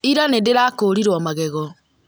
Ira nĩ ndĩrakũrirwo magego